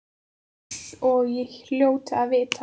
Eins og ég hljóti að vita.